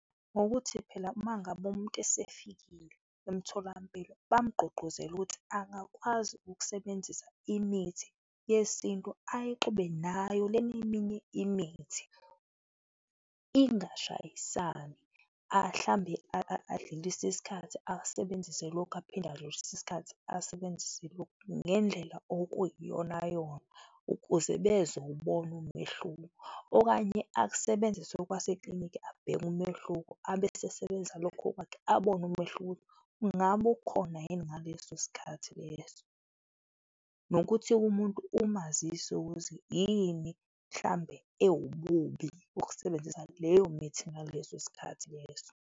Ngokuthi phela uma ngabe umuntu esefikile emtholampilo, bamgqugquzele ukuthi angakwazi ukusebenzisa imithi yesintu, ayixube nayo lena eminye imithi, ingashayisani. Mhlawumbe adlulise isikhathi, asebenzise lokhu aphinde adlulise isikhathi, asebenzise lokhu ngendlela okuyiyonayona ukuze bezowubona umehluko okanye akusebenzise okwase kliniki, abheke umehluko abesesebenzisa lokho okwakhe, abone umehluko ungabe ukhona yini ngaleso sikhathi leso. Nokuthi umuntu umazise ukuthi yini mhlawumbe ewububi ukusebenzisa leyo mithi ngaleso sikhathi leso.